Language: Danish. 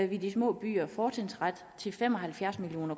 vi de små byer fortrinsret til fem og halvfjerds million